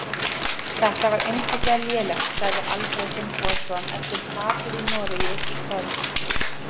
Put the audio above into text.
Þetta var einfaldlega lélegt, sagði Alfreð Finnbogason eftir tapið í Noregi í kvöld.